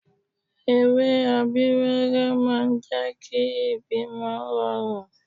Ewé Abíwẹ́rẹ́ máa ń jẹ́ kí ìbímọ rọrùn